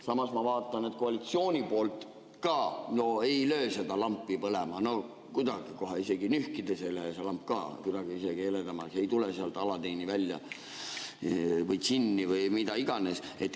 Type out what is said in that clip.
Samas ma vaatan, et koalitsiooni poolt ka ei löö seda lampi põlema kuidagi, isegi nühkides ei lähe see lamp kuidagi heledamaks, ei tule sealt Aladdini välja või džinni või mida iganes.